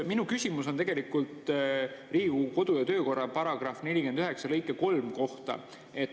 Minu küsimus on Riigikogu kodu‑ ja töökorra § 49 lõike 3 kohta.